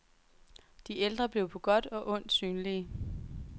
De ældre blev på godt og ondt synlige.